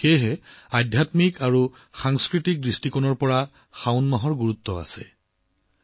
সেইবাবেই আধ্যাত্মিক দৃষ্টিকোণৰ লগতে সাংস্কৃতিক দৃষ্টিকোণৰ পৰাও শাওন মাহ অতি গুৰুত্বপূৰ্ণ হৈ আহিছে